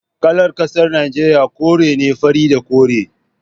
Kalar kasar Najeriya kore ne, fari da kore